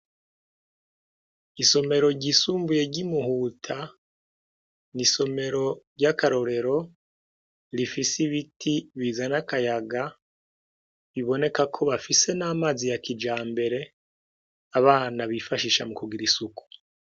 Isomero ryisumbuye ry'i Muhuta, ni isomero ry'akarorero, rifise ibiti bizana akayaga, biboneka ko bafise n'amazi ya kijambere, abana bifashisha mu kugira isuku.